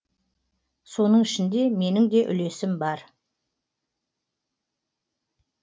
соның ішінде менің де үлесім бар